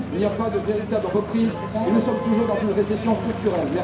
Il n'y a pas de véritable reprise et nous sommes toujours dans une récession structurelle.